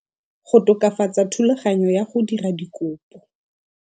Go tokafatsa thulaganyo ya go dira dikopo